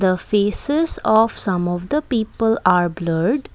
A faces of some of the people are blurred.